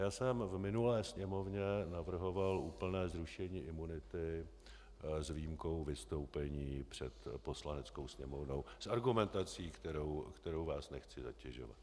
Já jsem v minulé Sněmovně navrhoval úplné zrušení imunity s výjimkou vystoupení před Poslaneckou sněmovnou s argumentací, kterou vás nechci zatěžovat.